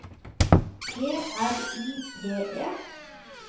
G R I P E